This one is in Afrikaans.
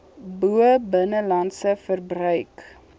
bo binnelandse verbruik